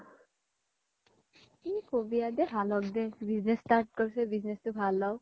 কি কবি আৰ দে ভাল হ্'ক business start কৰিছে business তো ভাল হ্'ক